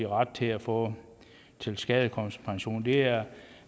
ret til at få tilskadekomstpension det er